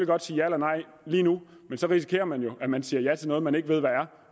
godt sige ja eller nej lige nu men så risikerer man jo at man siger ja til noget man ikke ved hvad er